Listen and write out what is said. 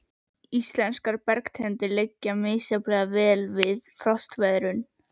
Íslenskar bergtegundir liggja misjafnlega vel við frostveðrun.